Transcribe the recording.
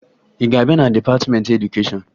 Ị ga-abịa na dịpatịmentị edukeshọn?